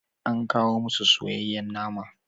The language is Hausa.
An kawo musu soyayyen nama.